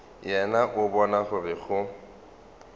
yena o bona gore go